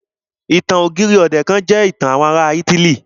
Ìtàn ọ̀gírì ọ̀dẹ̀ jẹ́ ìtàn àwọn ará ítílì.